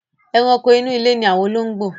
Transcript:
Ẹranko inú ilé ni àwọn olóngbò.